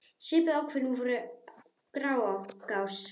Svipuð ákvæði voru í Grágás.